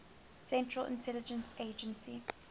central intelligence agency